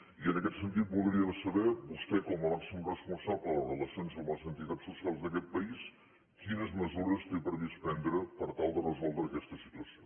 i en aquest sentit voldríem saber vostè com a màxim responsable de les relacions amb les entitats socials d’aquest país quines mesures té previst prendre per tal de resoldre aquesta situació